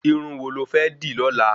Irun wò lo fẹ́ dì lọ́la?